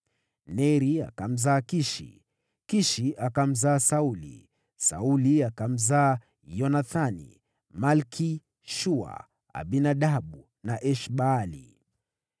Neri akamzaa Kishi, Kishi akamzaa Sauli. Sauli akamzaa Yonathani, Malki-Shua, Abinadabu na Esh-Baali.